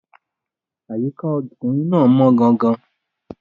Àyíká ọkùnrin náà mọ́ gan-an.